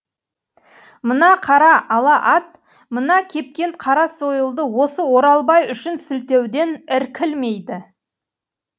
мына қара ала ат мына кепкен қара сойылды осы оралбай үшін сілтеуден іркілмейді